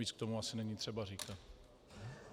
Víc k tomu asi není třeba říkat.